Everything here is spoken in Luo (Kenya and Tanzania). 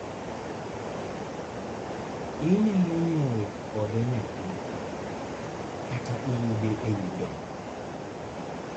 inyalo nyuol kode nyathi, kata iyude ewi dongo